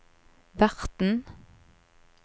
verten